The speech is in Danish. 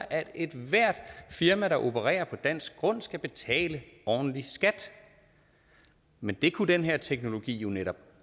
at ethvert firma der opererer på dansk grund skal betale ordentlig skat men det kunne den her teknologi jo netop